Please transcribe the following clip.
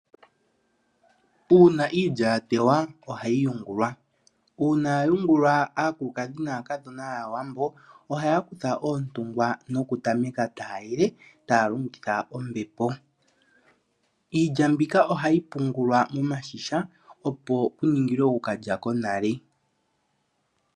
Uuna iilya ya tewa ohayi yungulwa , uuna ya yungulwa akulukadhi naakadhona yaawambo ohaya kutha oontungwa noku tameka ta yele taya longitha ombepo .Iilya mbika ohayi pungulwa momashisha opo yiningilwe oku kalya konale